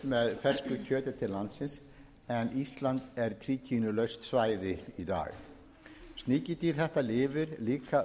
með fersku kjöti til landsins en ísland er tríkínulaust svæði í dag sníkjudýr þetta lifir líka auðveldlega í